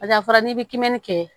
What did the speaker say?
Paseke a fɔra n'i bɛ kimɛni kɛ